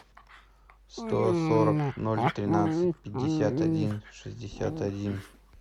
сто сорок ноль тринадцать пятьдесят один шестьдесят один